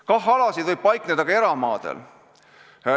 KAH-alad võivad paikneda ka eramaadel.